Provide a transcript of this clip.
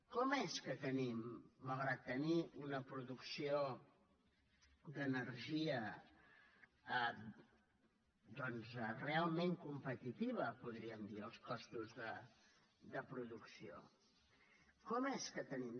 com és que tenim malgrat tenir una producció d’energia doncs realment competitiva podríem dir de costos de producció com és que tenim